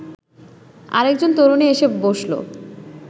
আরেকজন তরুণী এসে বসল